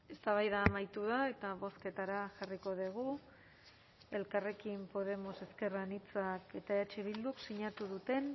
eztabaida amaitu da eta bozketara jarriko dugu elkarrekin podemos ezker anitzak eta eh bildu sinatu duten